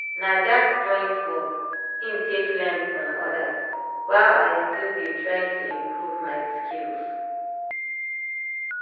na that joint work in take learn from others while i still dey try to improve my skills.